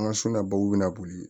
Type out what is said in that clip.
An ka bɛna boli